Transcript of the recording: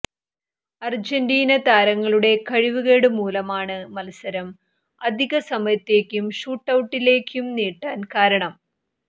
Argentina താരങ്ങളുടെ കഴിവുകേട് മൂലമാണ് മത്സരം അധിക സമയത്തേക്കും ഷൂട്ടൌട്ടിലേക്കും നീട്ടാന് കാരണം